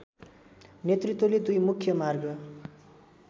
नेतृत्वले दुई मुख्य मार्ग